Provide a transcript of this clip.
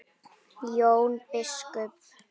Jón biskup!